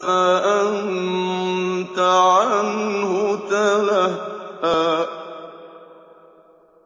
فَأَنتَ عَنْهُ تَلَهَّىٰ